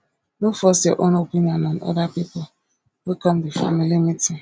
no force your own opinion on oda pipo wey come di family meeting